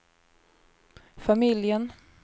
familjen